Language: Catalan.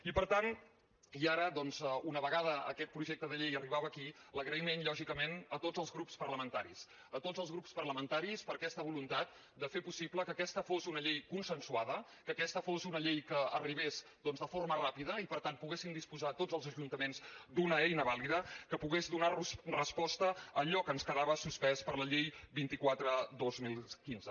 i per tant i ara doncs una vegada aquest projecte de llei arribava aquí l’agraïment lògicament a tots els grups parlamentaris a tots els grups parlamentaris per aquesta voluntat de fer possible que aquesta fos una llei consensuada que aquesta fos una llei que arribés de forma ràpida i per tant poguessin disposar tots els ajuntaments d’una eina valida que pogués donar los resposta a allò que ens quedava suspès per la llei vint quatre dos mil quinze